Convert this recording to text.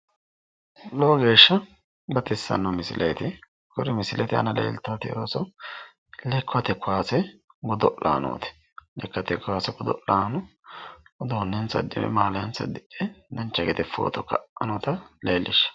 Lowo geeshsha baxissanno misileeti, kuni misileeti iima leeltaati Ooso lekkate kowaase godo'lanooti, lekkate kaase godo'lanno uduunnensa uddidhe maaliyaansa uddidhe dancha gede footo ka"anni noota leellishaawo.